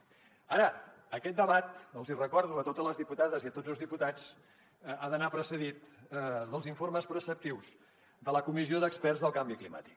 ara aquest debat els hi recordo a totes les diputades i a tots els diputats ha d’anar precedit dels informes preceptius de la comissió d’experts del canvi climàtic